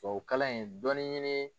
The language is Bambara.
Tubabukalan in dɔɔnin ɲini.